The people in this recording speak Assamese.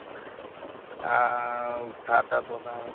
আ চাহ-তাহ বনায়